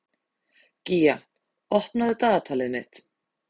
Gía, opnaðu dagatalið mitt.